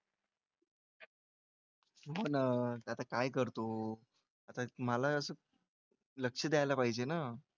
हो ना त्याचं काय करतो आता मला असं लक्ष द्यायला पाहिजे ना.